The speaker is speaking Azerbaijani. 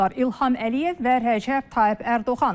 İlham Əliyev və Rəcəb Tayyib Ərdoğan.